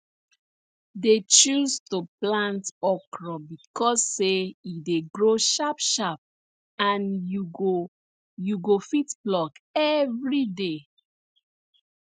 dey choose to plant okro becos say e dey grow sharp sharp and you go you go fit pluck everyday